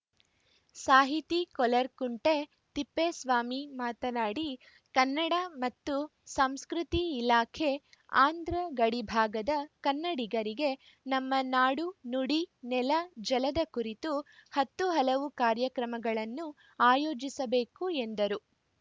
ಸಾಹಿತಿ ಕೊರ್ಲಕುಂಟೆ ತಿಪ್ಪೇಸ್ವಾಮಿ ಮಾತನಾಡಿ ಕನ್ನಡ ಮತ್ತು ಸಂಸ್ಕೃತಿ ಇಲಾಖೆ ಆಂಧ್ರ ಗಡಿಭಾಗದ ಕನ್ನಡಿಗರಿಗೆ ನಮ್ಮ ನಾಡು ನುಡಿ ನೆಲ ಜಲದ ಕುರಿತು ಹತ್ತು ಹಲವು ಕಾರ್ಯಕ್ರಮಗಳನ್ನು ಆಯೋಜಿಸಬೇಕು ಎಂದರು